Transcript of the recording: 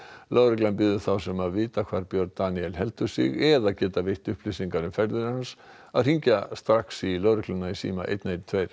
lögreglan biður þá sem vita hvar Björn Daníel heldur sig eða geta veitt upplýsingar um ferðir hans að hringja strax í lögregluna í síma einn einn tveir